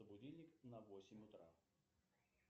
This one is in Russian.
будильник на восемь утра